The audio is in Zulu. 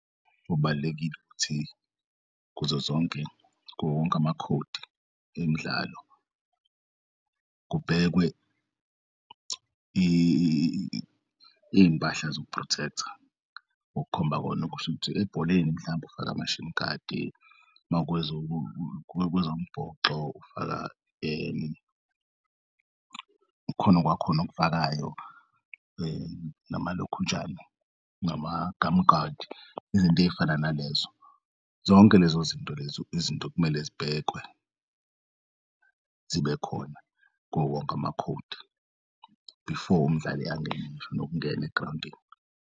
Kubalulekile ukuthi kuzo zonke kuwowokonk'amakhodi emdlalo kubhekwe iy'mpahla zoku-protect-a okukhomba kona kushuthi ebholeni mhlawumbe ufake ama-shin guard, makwezombhoxo ufaka kukhona okwakhona okufakayo ngamalokhunjana ngama-gum guard izinto ezifana nalezo. Zonke lezozinto lezo izinto okumele zibhekwe zibe khona kuwowonke amakhodi before umdlali angene ngisho nokungena egrawundini.